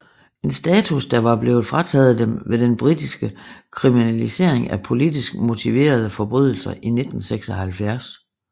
En status der var blevet frataget dem ved den britiske kriminalisering af politisk motiverede forbrydelser i 1976